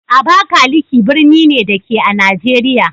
Abakalaki birni ne, da ke a Najeriya